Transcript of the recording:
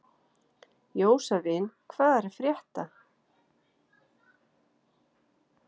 Jósavin, hvað er að frétta?